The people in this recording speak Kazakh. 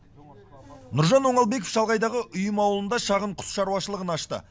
нұржан оңалбеков шалғайдағы ұйым ауылында шағын құс шаруашылығын ашты